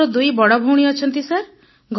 ମୋର ଦୁଇ ବଡ଼ ଭଉଣୀ ଅଛନ୍ତି ସାର୍